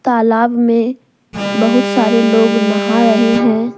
तालाब में बहुत सारे लोग नहा रहे हैं।